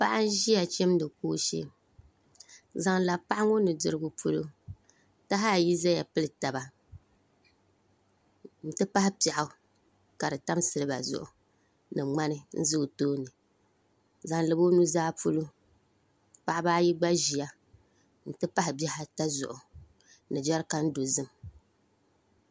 Paɣa n ʒiya chimdi kooshɛ zaŋ labi paɣa ŋo nudirigu polo taha ayi ʒɛya pili taba n ti pahi piɛɣu ka di tam silba zuɣu ni ŋmani n ʒɛ o tooni zaŋ labi o nuzaa polo paɣaba. Ayi gb a ʒiya n ti pahi bihi ata zuɣu ni jɛrikan dozim